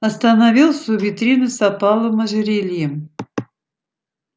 остановился у витрины с опаловым ожерельем